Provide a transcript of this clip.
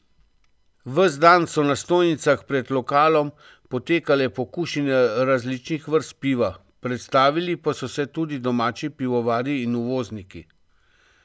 Ves dan so na stojnicah pred lokalom potekale pokušine različnih vrst piva, predstavili pa so se tudi domači pivovarji in uvozniki.